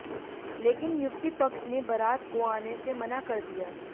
लेकिन युवती पक्ष ने बरात को आने से मना कर दिया